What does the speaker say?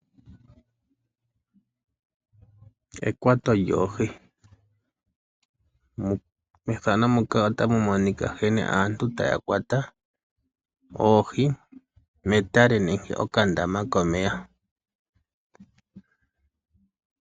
Ekwato lyoohi, otamu monika nkene aantu taya kwata oohi metale nenke mokandama komeya.